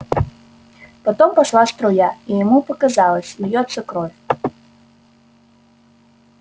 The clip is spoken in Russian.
потом пошла струя и ему показалось льётся кровь